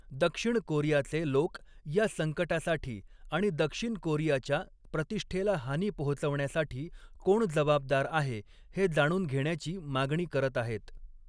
दक्षिण कोरियाचे लोक या संकटासाठी आणि दक्षिण कोरियाच्या प्रतिष्ठेला हानी पोहोचवण्यासाठी कोण जबाबदार आहे हे जाणून घेण्याची मागणी करत आहेत.